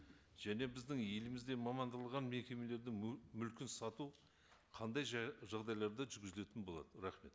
және біздің елімізде мекемелердің мүлкін сату қандай жағдайларда жүргізілетін болады рахмет